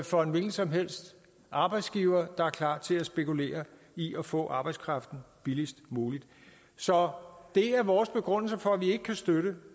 for en hvilken som helst arbejdsgiver der er klar til at spekulere i at få arbejdskraften billigst muligt så det er vores begrundelse for at vi ikke kan støtte